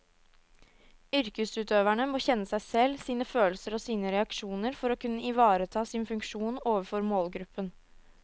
Yrkesutøverne må kjenne seg selv, sine følelser og sine reaksjoner for å kunne ivareta sin funksjon overfor målgruppen.